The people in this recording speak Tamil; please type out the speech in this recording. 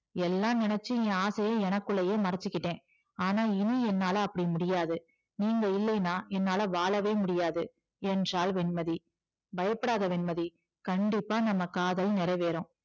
எல்லாம் நினைச்சு என் ஆசையை எனக்குள்ளயே மறைச்சுகிட்டேன் ஆனா இனி என்னால அப்படி முடியாது நீங்க இல்லைனா என்னால வாழவே முடியாது என்றாள் வெண்மதி பயப்படாத வெண்மதி கண்டிப்பா நம்ம காதல் நிறைவேறும்